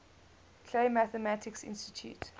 clay mathematics institute